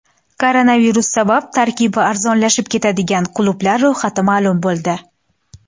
Koronavirus sabab tarkibi arzonlashib ketadigan klublar ro‘yxati ma’lum bo‘ldi.